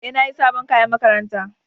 E, na sayi sabon kayan makaranta.